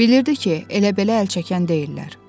Bilirdi ki, elə belə əl çəkən deyillər.